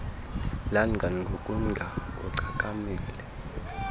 langa ngokunga ugcakamele